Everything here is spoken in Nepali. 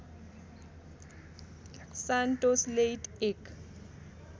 सान्टोस लेइट एक